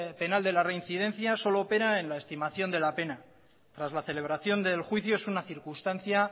penal de reincidencia solo opera en la estimación de la pena tras la celebración del juicio es una circunstancia